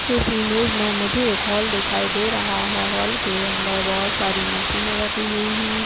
इस इमेज में मुझे एक हॉल दिखाई दे रहा है। हॉल के अंदर बोहोत सारी मशीने रखी हुई हैं।